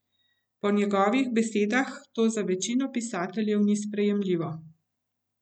Po njegovih besedah to za večino pisateljev ni sprejemljivo.